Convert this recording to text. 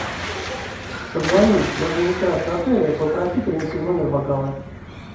позвони в администрацию отеля и попроси принести в номер бокалы